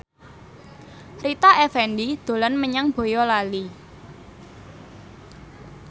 Rita Effendy dolan menyang Boyolali